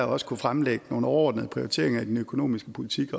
også kunne fremlægge nogle overordnede prioriteringer i den økonomiske politik